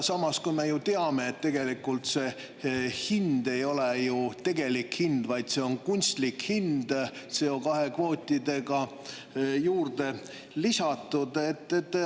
Samas, kui me ju teame, et tegelikult see hind ei ole ju tegelik hind, vaid see on kunstlik hind, CO2 kvootidega juurde lisatud.